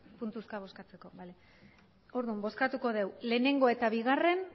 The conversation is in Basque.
puntuzka bozkatzeko bale orduan bozkatuko dugu lehenengo eta bigarren